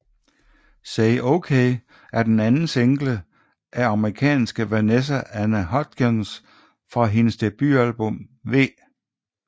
Say OK er den anden single af amerikanske Vanessa Anne Hudgens fra hendes debutalbum V